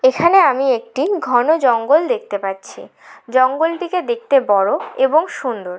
এখানে আমি একটি ঘন জঙ্গল দেখতে পাচ্ছি। জঙ্গলটিকে দেখতে বড়ো এবং সুন্দর।